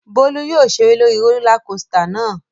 Bólú yóò ṣeré lórí rólá kosità náà.